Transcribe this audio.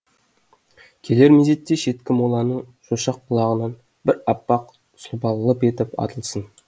келер мезетте шеткі моланың шошақ құлағынан бір аппақ сұлба лып етіп атылсын